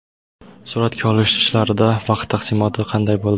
Suratga olish ishlarida vaqt taqsimoti qanday bo‘ldi?